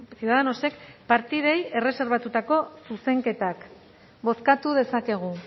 ciudadanosek partidei erreserbatutako zuzenketak bozkatu dezakegu